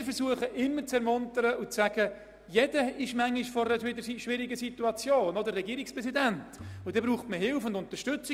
Wir versuchen, die Lehrkräfte zu ermuntern und darauf hinzuweisen, dass jeder mal in einer schwierigen Situation ist und dann Hilfe braucht: Jeder – auch der Regierungspräsident.